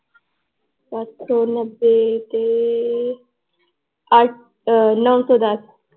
ਸੱਤ ਸੌ ਨੱਬੇ ਤੇ ਆ ਨੋ ਸੌ ਦੱਸ l